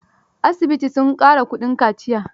Asibiti sun ƙara kuɗin kaciyar